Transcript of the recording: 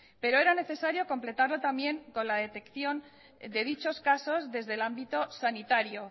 pero era necesario completarlo también con la detección de dichos casos desde el ámbito sanitario